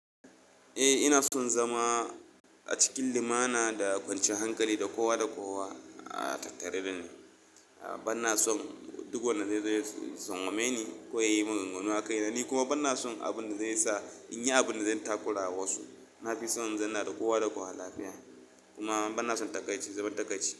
Eh ina son zama a cikin limana da kwanciyar hankali da kowa da kowa a tattare da ni. Bana son duk wanda zai zo ya tsangwame ni ko ya yi min gungun wa kai. Da ni kuma bana son abin da zai sa in yi abin da zan takura wa su. Na fi son zan na da kowa da kowa lafiya kuma bana son takaitacce zubar takaitacce.